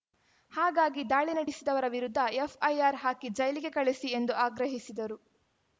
ಹಾಗಾಗಿ ದಾಳಿ ನಡಿಸಿದವರ ವಿರುದ್ಧ ಎಫ್‌ಐಆರ್‌ ಹಾಕಿ ಜೈಲಿಗೆ ಕಳಿಸಿ ಎಂದು ಆಗ್ರಹಿಸಿದರು